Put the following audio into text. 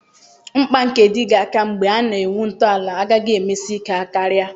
Mkpa nke Dịgga aka mgbe a na-ewu ntọala agaghị emesi ike karịa